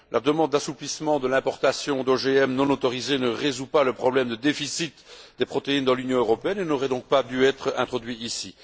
La demande d'assouplissement de l'importation d'OGM non autorisés ne résout pas le problème de déficit des protéines dans l'Union européenne et n'aurait donc pas dû être introduite ici.